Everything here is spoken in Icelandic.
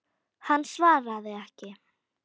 Hann svaraði ekki.